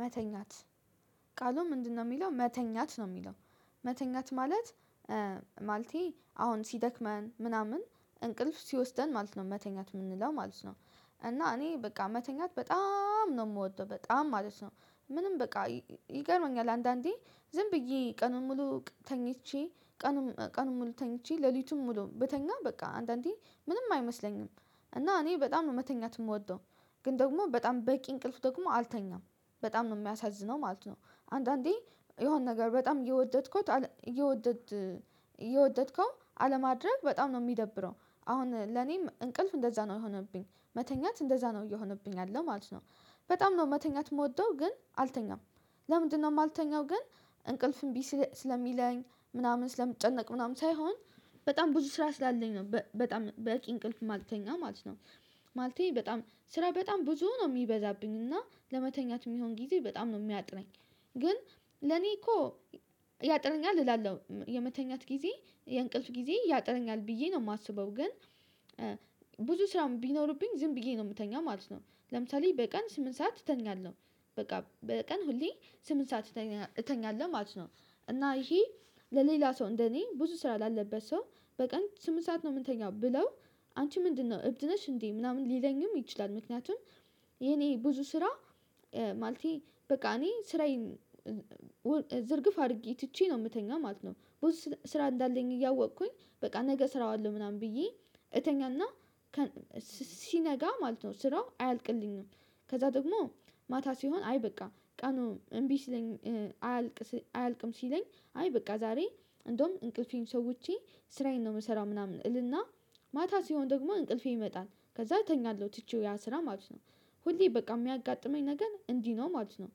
መተኛት ቃሉ ምንድነው? የሚለው መተኛት ነው የሚለው መተኛት ማለት ማለቴ አሁን ሲደክመን ምናምን እንቅልፍ ሲወስደን ማለት ነው መተኛት የምንለው ማለት ነው። እና እኔ በቃ መተኛት በጣም ነው የምወደው በጣም ማለት ነው። ምንም በቃ ይገርመኛል አንዳንዴ ዝም ብዬ ቀኑን ሙሉ ተኝቼ ቀኑን ሙሉ ተኝቼ ሌሊቱንም ሙሉ ብተኛ በቃ አንዳንዴ ምንም አይመስለኝም። እና እኔ በጣም መተኛት የምወደው ግን ደግሞ በጣም በቂ እንቅልፍ ደግሞ አልተኛም። በጣም የሚያሳዝነው ማለት ነው አንዳንዴ የሆነ ነገር በጣም እየወደድኩት እየወደድከው አለማድረግ በጣም ነው የሚደብረው አሁን ለኔም እንቅልፍ እንደዛ ነው የሆነብኝ መተኛት እንደዛ ነው እየሆነብኝ ያለ ማለት ነው። በጣም ነው መተኛት የምወደው ግን አልተኛም። ለምንድነው የማልተኛው? ግን እንቅልፍ እምቢ ስለሚለኝ ምናምን ስለምጨነቅ ምናምን ሳይሆን በጣም ብዙ ስራ ስላለኝ ነው በጣም በቂ እንቅልፍ የማለተኛ ማለት ነው። ማለቴ በጣም ስራ በጣም ብዙ ነው የሚበዛብኝ እና ለመተኛት የሚሆን ጊዜ በጣም ነው የሚያጥነኝ ግን ለኔ እኮ ያጥረኛል እላለሁ የመተኛት ጊዜ የእንቅልፍ ጊዜ ያጥረኛል ብዬ ነው የማስበው ግን ብዙ ስራም ቢኖርብኝ ዝም ብዬ ነው የምተኛው ማለት ነው። ለምሳሌ በቀን ስምንት ሰዓት እተኛለሁ በቃ በቀን ሁሌ ስምንት ሰዓት እተኛለሁ ማለት ነው። እና ይሄ ለሌላ ሰው እንደኔ ብዙ ስራ ላለበት ሰው በቀን ስምንት ሰዓት ነው የምተኛው ብለው አንቺ ምንድነው እብድ ነሽ እንዴ ምናምን ሊለኝም ይችላል? ምክንያቱም የኔ ብዙ ስራ ማለቴ በቃ እኔ ስራዬን ዝርግፍ አድርጌ ትቼ ነው የምተኛው ማለት ነው ብዙ ስራ እንዳለኝ እያወቅኩኝ በቃ ነገ ሰራዋለሁ ምናምን ብዬ እተኛና ሲነጋ ማለት ነው ስራው አያልቅልኝም። ከዛ ደግሞ ማታ ሲሆን አይ በቃ ቀኑ እምቢ ሲለኝ አያልቅም ሲለኝ አይ በቃ ዛሬ እንደውም እንቅልፌን ሰውቼ ስራዬን ነው የምሰራው ምናምን እልና ማታ ሲሆን ደግሞ እንቅልፌ ይመጣል ከዛ እተኛለሁ ትቼው ያን ስራ ማለት ነው። ሁሌ በቃ የሚያጋጥመኝ ነገር እንዲህ ነው ማለት ነው።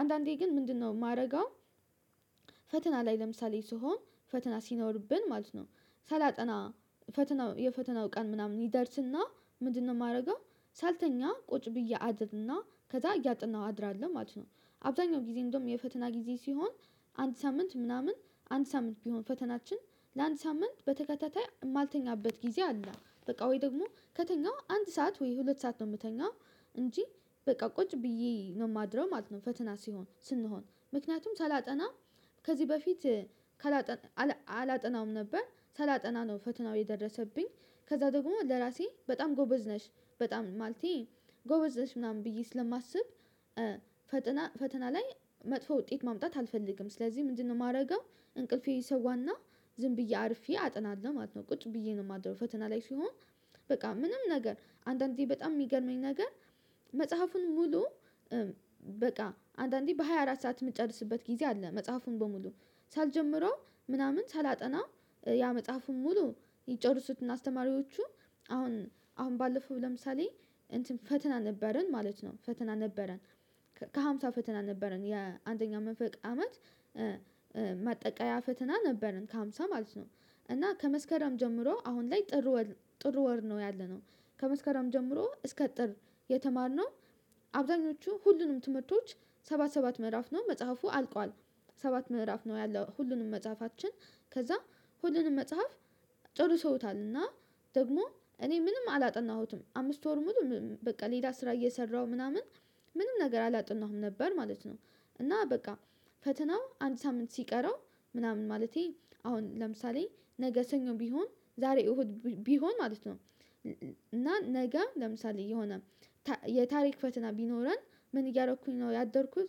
አንዳንዴ ግን ምንድነው የማረገው? ፈተና ላይ ለምሳሌ ስሆን ፈተና ሲኖርብን ማለት ነው ሳላጠና ፈተና የፈተናው ቀን ምናምን ይደርስና ምንድነው የማደርገው ሳልተኛ ቁጭ ብዬ አድርና ከዛ እያጠናሁ አድራለሁ ማለት ነው። አብዛኛው ጊዜ እንደውም የፈተና ጊዜ ሲሆን አንድ ሳምንት ምናምን አንድ ሳምንት ቢሆን ፈተናችን ለአንድ ሳምንት በተከታታይ የማልተኛበት ጊዜ አለ። በቃ ወይ ደግሞ ከተኛሁ አንድ ሰዓት ወይ ሁለት ሰዓት ነው የምተኛው እንጂ በቃ ቁጭ ብዬ ነው የማድረው ማለት ነው። ፈተና ሲሆን ስንሆን ምክንያቱም ሳላጠና ከዚህ በፊት አላጠናም ነበር ሳላጠና ነው ፈተናው የደረሰብኝ ከዛ ደግሞ ለራሴ በጣም ጎበዝ ነሽ በጣም ማለቴ ጎበዝ ነሽ ምናምን ብዬ ስለማስብ ፈተና ፈተና ላይ መጥፎ ውጤት ማምጣት አልፈልግም። ስለዚህ ምንድነው የማደርገው? እንቅልፌን እሰዋና ዝም ብዬ አርፌ አጠናለሁ ማለት ነው። ቁጭ ብዬ ነው የማድረው ፈተና ላይ ሲሆን በቃ ምንም ነገር አንዳንዴ በጣም የሚገርመኝ ነገር መጽሐፉን ሙሉ በቃ አንዳንዴ በሃያ አራት ሰዓት የምጨርስበት ጊዜ አለ መጽሐፉን በሙሉ ሳልጀምረው ምናምን ሳላጠና ያ መጽሐፉን ሙሉ ይጨርሱትና አስተማሪዎቹ አሁን አሁን ባለፈው ለምሳሌ እንትን ፈተና ነበረን ማለት ነው ፈተና ነበረን ከሃምሳ ፈተና ነበረን የአንደኛው መንፈቅ አመት ማጠቃለያ ፈተና ነበረን ከሃምሳ ማለት ነው። እና ከመስከረም ጀምሮ አሁን ላይ ጥር ወር ነው ያለነው ከመስከረም ጀምሮ እስከ ጥር የተማርነው አብዛኞቹ ሁሉንም ትምህርቶች ሰባት ሰባት ምዕራፍ ነው መጽሐፉ አልቋል። ሰባት ምዕራፍ ነው ያለው ሁሉንም መጽሐፋችን ከዛ ሁሉንም መጽሐፍ ጨርሰውታል እና ደግሞ እኔ ምንም አላጠናሁትም አምስት ወር ሙሉ በቃ ሌላ ስራ እየሰራሁ ምናምን ምንም ነገር አላጠናሁም ነበር ማለት ነው። እና በቃ ፈተናው አንድ ሳምንት ሲቀረው ምናምን ማለቴ አሁን ለምሳሌ ነገ ሰኞ ቢሆን ዛሬ እሁድ ቢሆን ማለት ነው እና ነገ ለምሳሌ የሆነ የታሪክ ፈተና ቢኖረን ምን እያደረኩኝ ነው ያደርኩት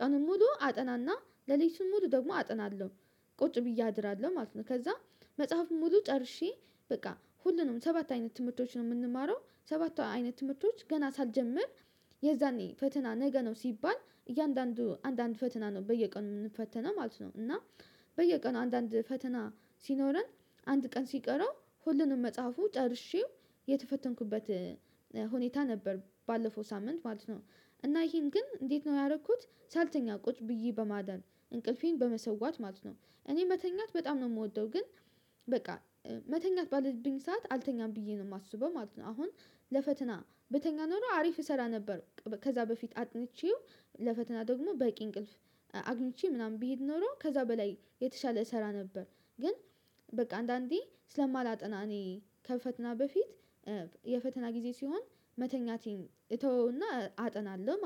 ቀኑን ሙሉ አጠናና ለሌሊቱን ሙሉ ደግሞ አጠናለሁ ቁጭ ብዬ አድራለሁ ማለት ነው። ከዛ መጽሐፉን ሙሉ ጨርሼ በቃ ሁሉንም ሰባት አይነት ትምህርቶች ነው የምንማረው ሰባት አይነት ትምህርቶች ገና ሳልጀምር የዛኔ ፈተና ነገ ነው ሲባል እያንዳንዱ አንዳንድ ፈተና ነው በየቀኑ የምንፈተነው ማለት ነው። እና በየቀኑ አንዳንድ ፈተና ሲኖረን አንድ ቀን ሲቀረው ሁሉንም መጽሐፉ ጨርሼው የተፈተንኩበት ሁኔታ ነበር ባለፈው ሳምንት ማለት ነው። እና ይሄን ግን እንዴት ነው ያደረኩት? ሳልተኛ ቁጭ ብዬ በማደር እንቅልፌን በመሰዋት ማለት ነው። እኔ መተኛት በጣም ነው የምወደው ግን በቃ መተኛት ባለብኝ ሰዓት አልተኛም ብዬ ነው የማስበው ማለት ነው። አሁን ለፈተና ብተኛ ኖሮ አሪፍ እሰራ ነበር ከዛ በፊት አጥንቼው ለፈተና ደግሞ በቂ እንቅልፍ አግኝቼ ምናምን ብሄድ ኖሮ ከዛ በላይ የተሻለ እሰራ ነበር። ግን በቃ አንዳንዴ ስለማላጠና እኔ ከፈተና በፊት የፈተና ጊዜ ሲሆን መተኛቴን እተወውና አጠናለሁ ማለት ነው